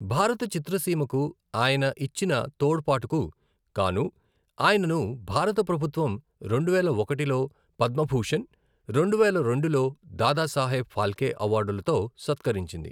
భారత చిత్రసీమకు అయిన ఇచ్చిన తోడ్పాటుకు గాను ఆయనను భారత ప్రభుత్వం రెండువేల ఒకటిలో పద్మభూషణ్, రెండువేల రెండులో దాదా సాహెబ్ ఫాల్కే అవార్డులతో సత్కరించింది.